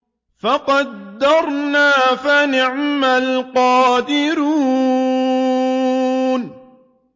فَقَدَرْنَا فَنِعْمَ الْقَادِرُونَ